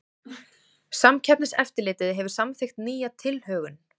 Samkeppniseftirlitið hefur samþykkt nýja tilhögun